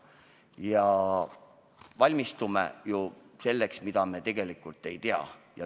Ja me valmistume ju selleks, mida me tegelikult ei tea.